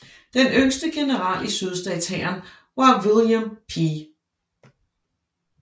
Den yngste general i sydstatshæren var William P